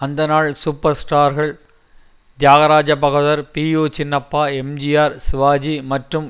அந்நாள் சூப்பர் ஸ்டார்கள் Thyagaraja Bhagavathar P U Chinnappa MGR Sivaji மற்றும்